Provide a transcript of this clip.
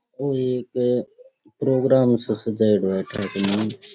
ओ एक प्रोगाम सा सजाएडा है --